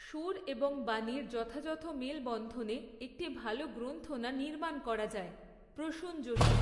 সুর এবং বাণীর যথাযথ মেলবন্ধনে, একটি ভালো গ্রন্থণা নির্মাণ করা যায় প্রসূন যোশী।